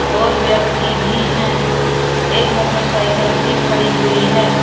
और व्यक्ति भी हैं एक मोटरसाइकिल भी खड़ी हुई है।